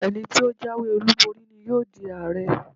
Ẹni tí ó jáwé olúborí ni yóò di Ààrẹ.